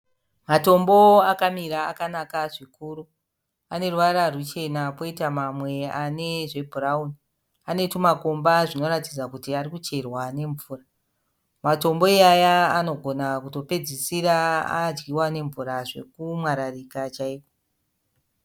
Matombo akamira akanaka zvikuru. Aneruvara ruchena kwoita mamwe anezvebhurawuni. Anetumakomba zvinoita kuratidza kuti arikucherwa nemvura. Matombo iwawa anogona kutopedzisira adyiwa nemvura zvokutomwararika chaiko.